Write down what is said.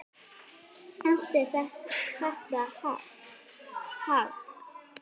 Allt er þetta hagl.